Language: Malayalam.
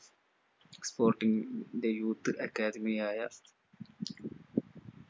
sporting ന്റെ youth academy യായ